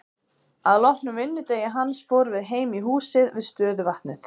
Að loknum vinnudegi hans fórum við heim í húsið við stöðuvatnið.